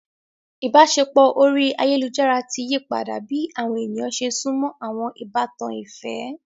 Ibaṣepọ orí ayélujára ti yípadà bi awọn ènìyàn ṣe sunmọ awọn ìbátan ìfẹ.